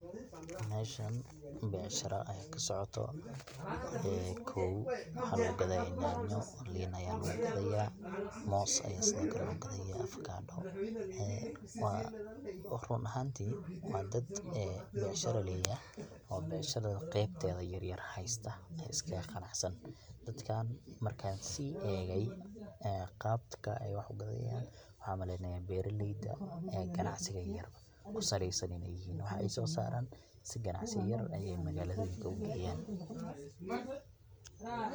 meshan becsharo aya kaaso coto kow waxaa lugu gadaya nyaanyo, liin aya lugu gadaya, moos aya sidokale lugu gadaya afakadho waa run ahamtii waa dad becshira leyahay oo becshirad qebteya yaryar haysta, iskaga qanacsan, dadkan markan sii egay qabka ay wax ugadayan waxan maleynaa beraleyda ganacsiga yaryar kusaleysan in ay yihiin waxay soo saaran si ganacsi yar ayay magaaloyinka ugeyaan